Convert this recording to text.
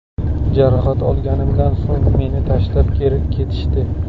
Jarohat olganimdan so‘ng meni tashlab ketishdi.